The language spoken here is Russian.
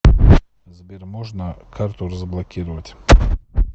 сбер можно карту разблокировать